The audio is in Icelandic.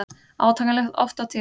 Átakanlegt oft á tíðum.